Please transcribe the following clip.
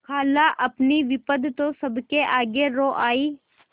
खालाअपनी विपद तो सबके आगे रो आयी